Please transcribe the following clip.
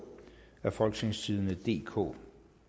af folketingstidende DK